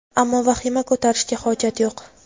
Ammo vahima ko‘tarishga hojat yo‘q.